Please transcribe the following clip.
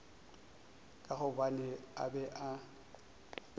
ka gobane a be a